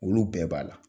Olu bɛɛ b'a la